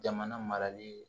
Jamana marali